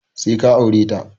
Sai ka aure ta!